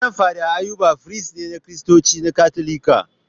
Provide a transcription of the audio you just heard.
Rev Fr Ayuba firist ne na Kiristanci na Katolika.